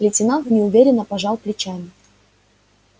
лейтенант неуверенно пожал плечами